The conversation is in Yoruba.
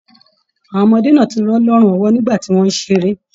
Àwọn ọmọdé náà tí rọ̀ lọrùn ọwọ nígbà tí wọn n ṣeré.